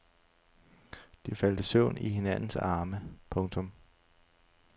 De faldt i søvn i hinandens arme. punktum